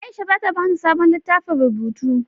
Aisha zata bani sabon littafin rubutu